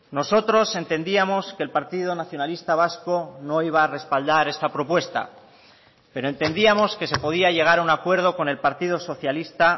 nosotros entendíamos que el partido nacionalista vasco no iba a respaldar esta propuesta pero entendíamos que se podía llegar a un acuerdo con el partido socialista